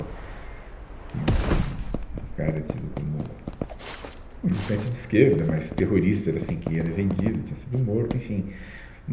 Que um, um, um, cara tido como militante de esquerda, mas terrorista, era assim que era vendido, tinha sido morto, enfim.